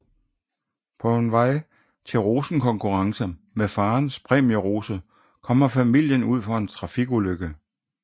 På vej til en rosenkonkurrence med farens præmierose kommer familien ud for en trafikulykke